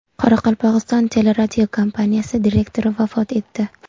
Qoraqalpog‘iston teleradiokompaniyasi direktori vafot etdi.